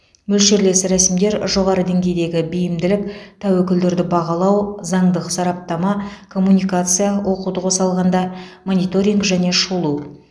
мөлшерлес рәсімдер жоғары деңгейдегі бейімділік тәуекелдерді бағалау заңдық сараптама коммуникация оқуды қоса алғанда мониторинг және шолу